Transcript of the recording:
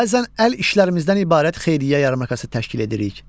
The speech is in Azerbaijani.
Bəzən əl işlərimizdən ibarət xeyriyyə yarmarkası təşkil edirik.